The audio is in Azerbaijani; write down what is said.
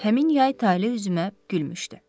Həmin yay Tale üzümə gülmüşdü.